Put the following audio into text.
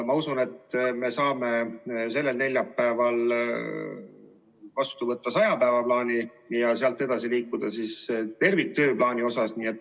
Ma usun, et me saame sellel neljapäeval vastu võtta saja päeva plaani ja sealt edasi liikuda terviktööplaaniga.